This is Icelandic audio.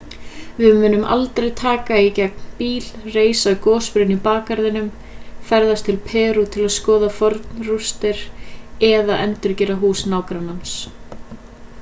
við munum aldrei taka í gegn bíl reisa gosbrunn í bakgarðinum ferðast til perú til að skoða fornar rústir eða endurgera hús nágrannans